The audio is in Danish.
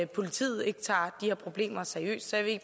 politiet ikke tager de her problemer seriøst så jeg vil